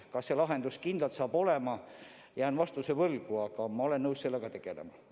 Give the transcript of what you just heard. Kas need lahendused kindlalt saavad olema – jään vastuse võlgu, aga ma olen nõus sellega tegelema.